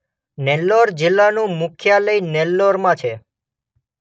નેલ્લોર જિલ્લાનું મુખ્યાલય નેલ્લોરમાં છે.